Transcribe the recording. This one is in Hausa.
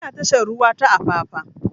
Ina tashar ruwa ta apapa